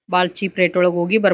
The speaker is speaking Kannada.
ಬಾಳ್ ಚೀಪ್ ರೇಟ್ ಒಳಗ್ ಹೋಗಿ ಬರಬಹುದ್ --